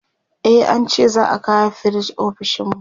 e an ce za'a kawo firij ofishinmu